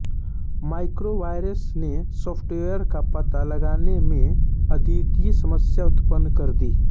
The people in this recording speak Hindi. मैक्रो वायरस ने सॉफ्टवेयर का पता लगाने में अद्वितीय समस्या उत्पन्न कर दी